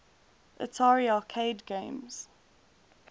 atari arcade games